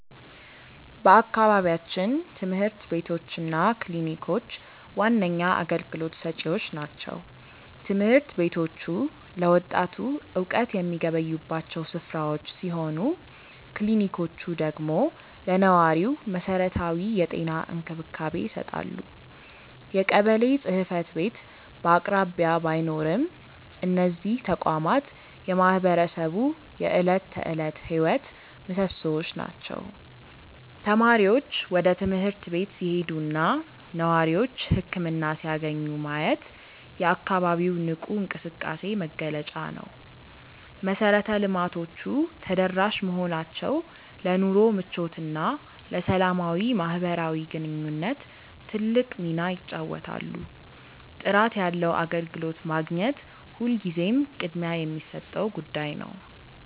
በአካባቢያችን ትምህርት ቤቶች እና ክሊኒኮች ዋነኛ አገልግሎት ሰጪዎች ናቸው። ትምህርት ቤቶቹ ለወጣቱ እውቀት የሚገበዩባቸው ስፍራዎች ሲሆኑ፣ ክሊኒኮቹ ደግሞ ለነዋሪው መሰረታዊ የጤና እንክብካቤ ይሰጣሉ። የቀበሌ ጽሕፈት ቤት በአቅራቢያ ባይኖርም፣ እነዚህ ተቋማት የማህበረሰቡ የዕለት ተዕለት ሕይወት ምሶሶዎች ናቸው። ተማሪዎች ወደ ትምህርት ቤት ሲሄዱና ነዋሪዎች ህክምና ሲያገኙ ማየት የአካባቢው ንቁ እንቅስቃሴ መገለጫ ነው። መሰረተ ልማቶቹ ተደራሽ መሆናቸው ለኑሮ ምቾትና ለሰላማዊ ማህበራዊ ግንኙነት ትልቅ ሚና ይጫወታሉ። ጥራት ያለው አገልግሎት ማግኘት ሁልጊዜም ቅድሚያ የሚሰጠው ጉዳይ ነው።